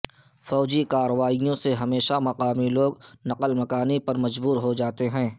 فوجی کارروائیوں سے ہمیشہ مقامی لوگ نقل مکانی پر مجبور ہو جاتے ہیں